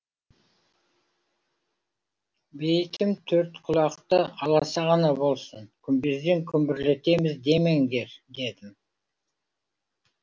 бейітім төртқұлақты аласа ғана болсын күмбезден күмбірлетеміз демеңдер дедім